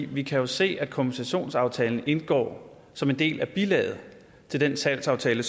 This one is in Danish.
vi kan jo se at kompensationsaftalen indgår som en del af bilaget til den salgsaftale